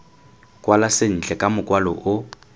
kwala sentle ka mokwalo o